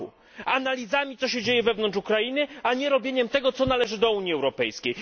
r. na analizy tego, co się dzieje wewnątrz Ukrainy, a nie zrobiliśmy tego, co należy do Unii Europejskiej.